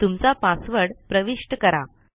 तुमचा पासवर्ड प्रविष्ट करा